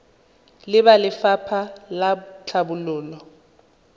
le ba lefapha la tlhabololo